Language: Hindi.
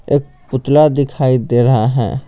एक पुतला दिखाई दे रहा है।